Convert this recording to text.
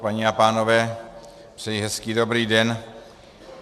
Paní a pánové, přeji hezký dobrý den.